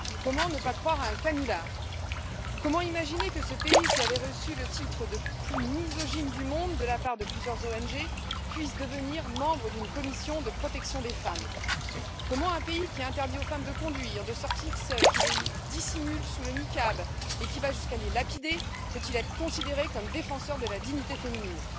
Comment ne pas croire à un canular? Comment imaginer que ce pays, qui avait reçu le titre de pays le plus misogyne du monde de la part de plusieurs ONG, puisse devenir membre d'une commission de protection des femmes? Comment un pays qui interdit aux femmes de conduire, de sortir seules, qui les dissimule sous le niqab et qui va jusqu'à les lapider, peut il être considéré comme défenseur de la dignité féminine?